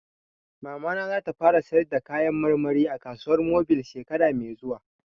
Mamana za ta fara sayar da kayan marmari a kasuwar mobil shekara mai zuwa